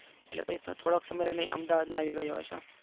એટલે પછી થોડોક સમય રહીને અમદાવાદ માં આવી ગયો હતો.